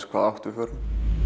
hvaða átt við förum